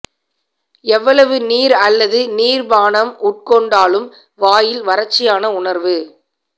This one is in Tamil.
எவ்வளவு நீர் அல்லது நீர் பானம் உட்கொண்டாலும் வாயில் வறட்சியான உணர்வு